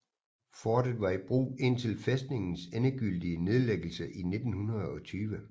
Fortet var i brug indtil fæstningens endegyldige nedlæggelse i 1920